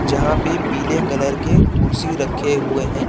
जहाँ पे पीले कलर के कुर्सी रखे हुए हैं।